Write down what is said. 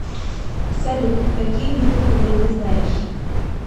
салют какие виды хубэй ты знаешь